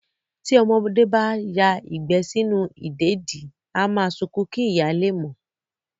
Tí ọmọdé bá ya ìgbẹ́ sínú ìdèdí, á máa sunkún kí ìyá lè mọ̀